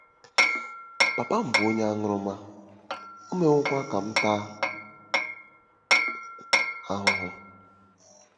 “Papa m bụ onye aṅụrụma, o mewokwa ka m taa ahụhụ.